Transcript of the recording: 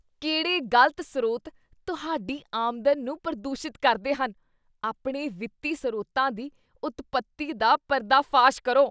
ਕਿਹੜੇ ਗਲਤ ਸਰੋਤ ਤੁਹਾਡੀ ਆਮਦਨ ਨੂੰ ਪ੍ਰਦੂਸ਼ਿਤ ਕਰਦੇ ਹਨ? ਆਪਣੇ ਵਿੱਤੀ ਸਰੋਤਾਂ ਦੀ ਉਤਪਤੀ ਦਾ ਪਰਦਾਫਾਸ਼ ਕਰੋ।